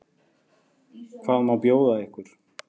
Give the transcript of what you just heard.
Hvað má bjóða ykkur?